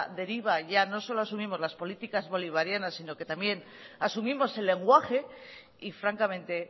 deriva ya no solo asumimos las políticas bolivarianas sino que también asumimos el lenguaje y francamente